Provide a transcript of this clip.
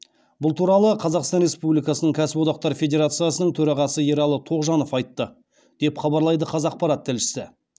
бұл туралы қазақстан республикасының кәсіподақтар федерациясының төрағасы ералы тоғжанов айтты деп хабарлайды қазақпарат тілшісі